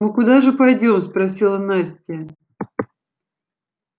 мы куда же пойдём спросила настя